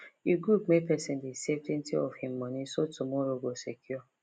e good make person dey savetwentyof him money so tomorrow go secure